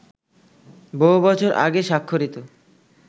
বহু বছর আগে স্বাক্ষরিত